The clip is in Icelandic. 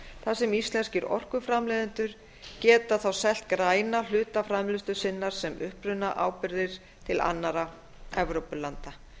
þar sem íslenskir orkuframleiðendur geta þá selt græna hluta framleiðslu sinnar sem upprunaábyrgðir til annarra evrópulanda